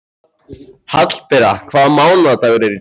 Hallbera, hvaða mánaðardagur er í dag?